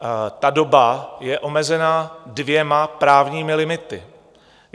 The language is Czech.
Ta doba je omezena dvěma právními limitami.